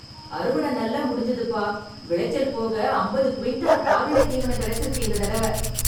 அறுவடை நல்லா முடிஞ்சுதுப்பா, விளைச்சல் போக அம்பது குவிண்டால் கால்நடைத் தீவனம் கிடைச்சிருக்கு இந்த தடவ.